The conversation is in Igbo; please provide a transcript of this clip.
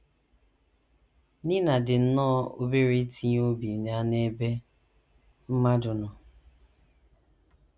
Nina dị nnọọ obere itinye obi ya n’ebe mmadụ nọ.